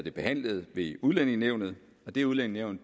er behandlet ved udlændingenævnet det udlændingenævn